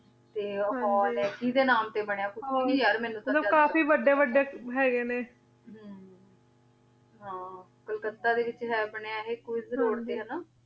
T ਊ ਕੋੰ ਆਯ ਕੀੜੇ ਨਾਮੇ ਟੀ ਬਨਯ ਮਤਲਬ ਕਾਫੀ ਵਾਦੇ ਵਾਦੇ ਹੇਗੇ ਨ ਹਮ ਹਾਂ ਕੋਲਕਾਤਾ ਦੇ ਵਿਚ ਹੈ ਅਪਨੇ ਅਹਿ ਕ਼ੁਇਜ਼ ਰੋਆਦ ਟੀ